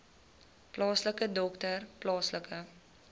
plaaslike dokter plaaslike